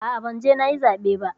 A'a, ban je nayi zaɓe ba.